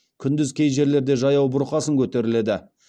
күндіз кей жерлерде жаяу бұрқасын көтеріледі